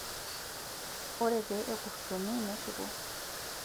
ore pee ekurtuni neshuko